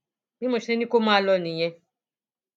bí mo ṣe ní kó máa lọ nìyẹn